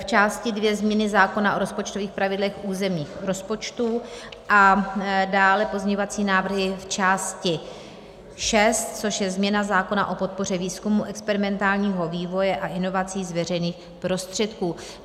V části II Změny zákona o rozpočtových pravidlech územních rozpočtů a dále pozměňovací návrhy v části VI, což je změna zákona o podpoře výzkumu experimentálního vývoje a inovací z veřejných prostředků.